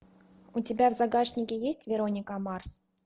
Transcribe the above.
у тебя в загашнике есть вероника марс